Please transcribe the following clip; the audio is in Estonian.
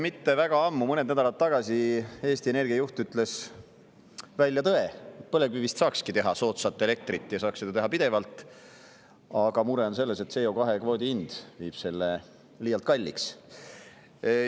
Mitte väga ammu, mõned nädalad tagasi, ütles Eesti Energia juht välja tõe, et põlevkivist saaks teha soodsat elektrit ja seda saaks teha pidevalt, aga mure on selles, et CO2-kvoodi hind liialt kalliks.